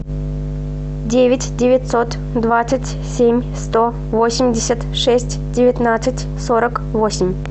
девять девятьсот двадцать семь сто восемьдесят шесть девятнадцать сорок восемь